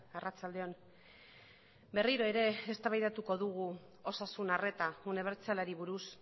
arratsalde on berriro ere eztabaidatuko dugu osasun arreta unibertsalari buruz